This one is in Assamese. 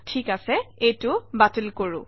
ঠিক আছে এইটো বাতিল কৰোঁ